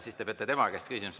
Siis te peate tema käest küsima.